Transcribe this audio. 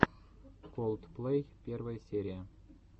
колдплэй первая серия